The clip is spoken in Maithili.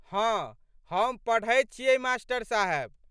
हँ हम पढ़ैत छियै मा.साहेब।